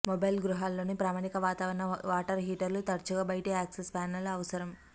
mobile గృహాల్లోని ప్రామాణిక వాతావరణ వాటర్ హీటర్లు తరచుగా బయటి యాక్సెస్ ప్యానెల్ అవసరం